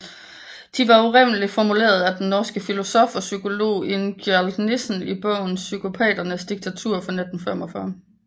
De var oprindeligt formuleret af den norske filosof og psykolog Ingjald Nissen i bogen Psykopaternes diktatur fra 1945